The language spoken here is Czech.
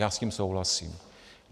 Já s tím souhlasím.